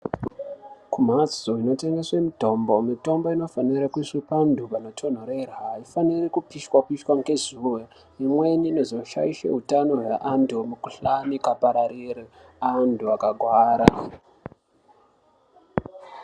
Kumhatso inotengeswa mitombo, mitombo inofanira kuiswa panotonhorera. Aifaniri kupishwa pishwa ngezuwa, imweni inoshaisha utano hweantu , mukhuhlani ukapararira antu akakuwara.